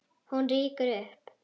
Hún rýkur upp.